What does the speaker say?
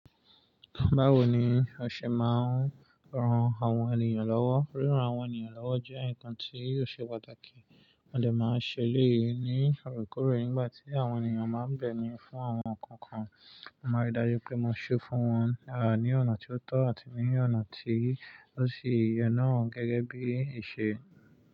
Báwo ni o ṣe máa ń ran àwọn ènìyàn lọ́wọ́? Ríran àwọn ènìyàn lọ́wọ́ jẹ́ ǹkan tí yóò ṣe pàtàkì. Mo dè máa ṣẹ eleyi ní òrekore nígbà tí àwọn ènìyàn báa ń bẹ̀mí fún àwọn nǹkan kan. Mo máa rí dájú pé mo ṣé fún wọn, à ní ọ̀nà tí ó tọ́ àti ní ọ̀nà tí ó sì ìyè náà gẹ́gẹ́ bí ìṣe.